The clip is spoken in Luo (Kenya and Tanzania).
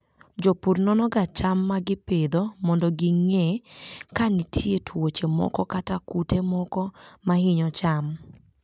Jopur nonoga cham ma gipidho mondo ging'e ka nitie tuoche moko kata kute moko ma hinyo cham.